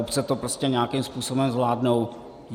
Obce to prostě nějakým způsobem zvládnou.